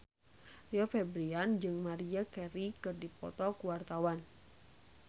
Rio Febrian jeung Maria Carey keur dipoto ku wartawan